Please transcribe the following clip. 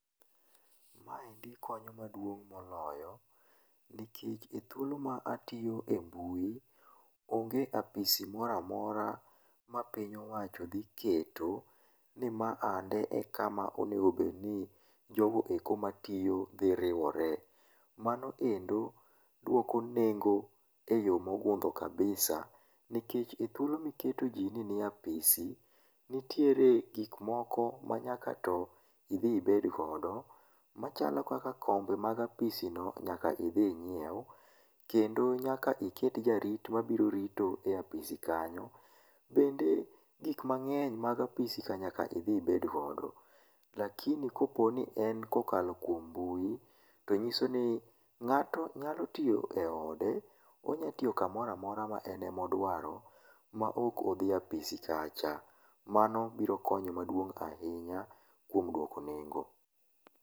ma endi konyo maduong' moloyo, nikech e thuolo ma atiyo e mbui ,onge apisi moro amora ma piny owacho dhi keto ni ma ande e kama onego bed ni jogo eko ma tiyo dhi riwore, mano endo duoko nengo e yoo mogudho kabisa nikech ethuolo miketo ji ni nie apisi nitiere gik moko manyako to idhi ibed godo machalo kaka kombe mag apisi no nyaka idhi inyiew kendo nyaka iket jarito mabiro rito e apisi kanyo, bende gik mangeny mag apisi nyaka idhi ibed godo, lakini kaponi en kokalo kuom mbui to nyiso ni ng'ato nyalo tiyo e ode, onyalotiyo kamoro amora ma en ema odwaro ma ok odhi e apisi kacha, mano biro konyo maduong' ahinya kuom duoko nengo.